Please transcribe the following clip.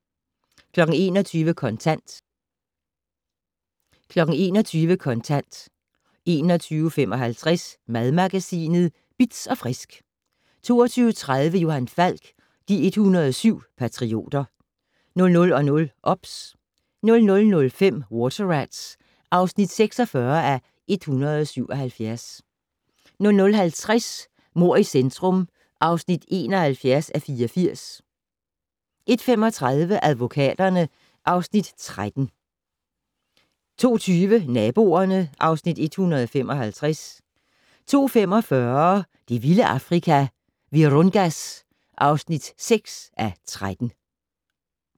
21:00: Kontant 21:55: Madmagasinet Bitz & Frisk 22:30: Johan Falk: De 107 patrioter 00:00: OBS 00:05: Water Rats (46:177) 00:50: Mord i centrum (71:84) 01:35: Advokaterne (Afs. 13) 02:20: Naboerne (Afs. 155) 02:45: Det vilde Afrika - Virungas (6:13)